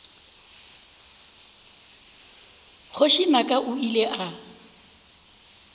kgoši naka o ile a